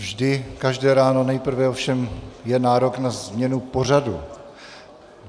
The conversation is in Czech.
Vždy každé ráno nejprve ovšem je nárok na změnu pořadu.